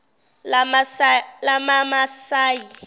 lamamasayi